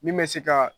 Min bɛ se ka